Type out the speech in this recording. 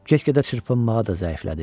Get-gedə çırpınmağa da zəiflədi.